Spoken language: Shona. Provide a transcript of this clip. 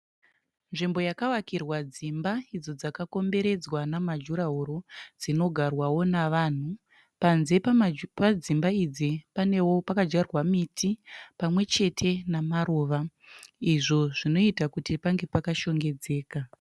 Nzvimbo yakavakirwa dzimba idzo dzakakomberedzwa namajurahoro dzinogarwao navanhu. Panze pedzimba idzi pakadyarwao miti pamwechete nemaruva izvo zvinoitao kuti pange pakashongedzeka.